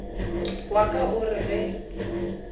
wa ka o re ge